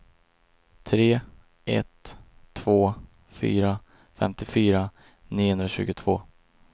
tre ett två fyra femtiofyra niohundratjugotvå